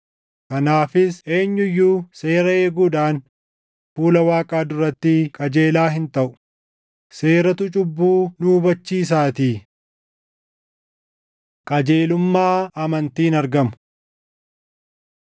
Kanaafis eenyu iyyuu seera eeguudhaan fuula Waaqaa duratti qajeelaa hin taʼu; seeratu cubbuu nu hubachiisaatii. Qajeelummaa Amantiin Argamu